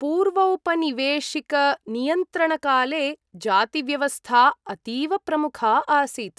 पूर्वौपनिवेशिकनियन्त्रणकाले जातिव्यवस्था अतीव प्रमुखा आसीत्।